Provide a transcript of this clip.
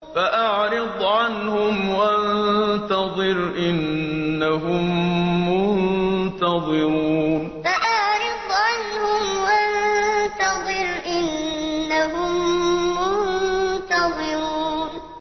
فَأَعْرِضْ عَنْهُمْ وَانتَظِرْ إِنَّهُم مُّنتَظِرُونَ فَأَعْرِضْ عَنْهُمْ وَانتَظِرْ إِنَّهُم مُّنتَظِرُونَ